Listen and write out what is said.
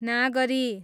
नागरी